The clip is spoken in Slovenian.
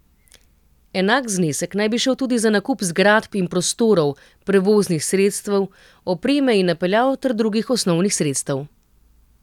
Enak znesek naj bi šel tudi za nakup zgradb in prostorov, prevoznih sredstev, opreme in napeljav ter drugih osnovnih sredstev.